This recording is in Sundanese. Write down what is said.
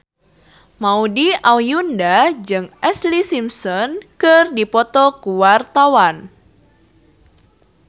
Maudy Ayunda jeung Ashlee Simpson keur dipoto ku wartawan